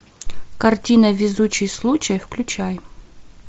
картина везучий случай включай